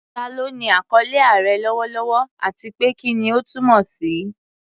Ta ló ní àkọlé "Aare" lọ́wọ́lọ́wọ́, àti pé kí ni ó túmọ̀ sí?